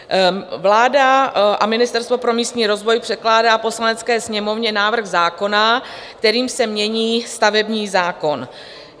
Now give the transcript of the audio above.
Vláda a Ministerstvo pro místní rozvoj předkládá Poslanecké sněmovně návrh zákona, kterým se mění stavební zákon.